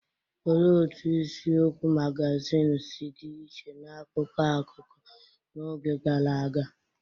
Olee otú isiokwu magazin si dị iche n’akụkọ akụkọ n’oge gara aga?